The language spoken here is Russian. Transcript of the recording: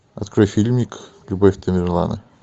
открой фильмик любовь тамерлана